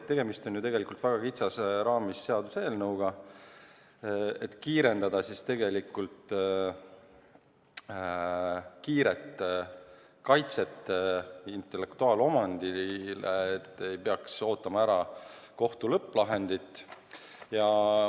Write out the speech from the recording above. Tegemist on ju tegelikult väga kitsas raamis seaduseelnõuga, mille abil kiirendada intellektuaalomandi kaitset, et ei peaks ootama ära kohtu lõpplahendit.